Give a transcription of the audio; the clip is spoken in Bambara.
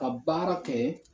Ka baara kɛ